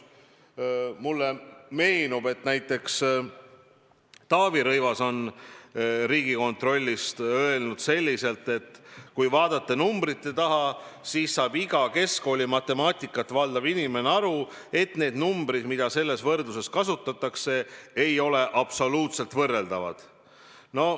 Mulle meenub, et näiteks Taavi Rõivas on Riigikontrolli kohta öelnud, et kui vaadata numbrite taha, siis saab iga keskkoolimatemaatikat valdav inimene aru, et need numbrid, mida selles võrdluses kasutatakse, ei ole absoluutselt võrreldavad.